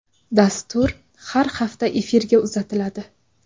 Dastur har hafta efirga uzatiladi.